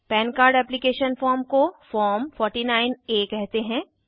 पन card application form को form 49आ कहते हैं